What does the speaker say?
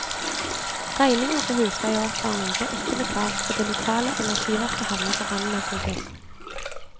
Regninger på husleie og oppvarming blir ikke betalt, og det lokale energiverket havner på randen av konkurs.